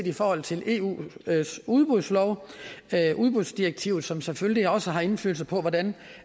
i forhold til eus udbudslov udbudsdirektivet som selvfølgelig også har indflydelse på hvordan